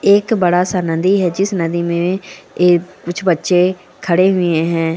एक बड़ा सा नदी है जिस नदी मे एक कुछ बच्चे खड़े हुए हैं।